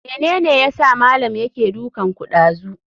Mene yasa malam yake dukanku ɗazu?